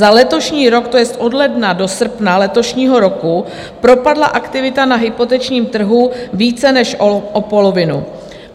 Za letošní rok, to jest od ledna do srpna letošního roku, propadla aktivita na hypotečním trhu více než o polovinu.